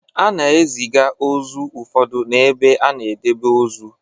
A na-eziga ozu ụfọdụ n'ebe a na-edebe ozu.